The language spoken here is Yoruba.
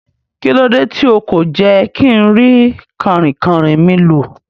Kílódé ti o kò jé kínrí kànrìnkàn mi lò